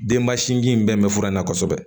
Denba sinji in bɛɛ bɛ fura in na kosɛbɛ